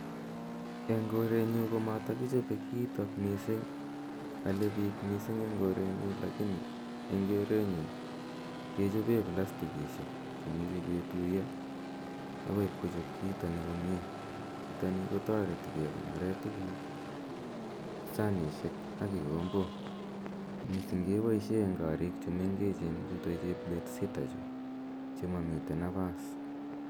Eng' korenyu ko matakichope kiitani missing'. Ale pik missing' eng' korenyu lakini en keretnyu kechope plastikishek che imuchi ketuya akoi ipkochop kiitani komye. Kiitani ko tareti kekonore tuguk, sanishek ak kikombok. Missing' kepaishe eng' koriik chu mengechen chutok chep bedsitter chu che mamitei napas.